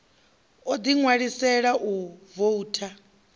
o ḓi ṋwalisela u voutha